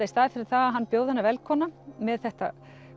í staðinn fyrir að bjóða hana velkomna með þetta